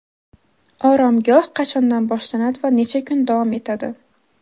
Oromgoh qachondan boshlanadi va necha kun davom etadi?.